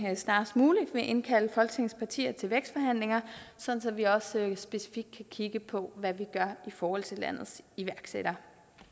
snarest muligt vil indkalde folketingets partier til vækstforhandlinger sådan at vi også specifikt kan kigge på hvad vi gør i forhold til landets iværksættere